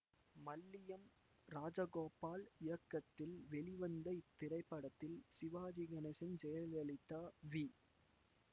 மல்லியம் ராஜகோபால் இயக்கத்தில் வெளிவந்த இத்திரைப்படத்தில் சிவாஜி கணேசன் ஜெயலலிதா வி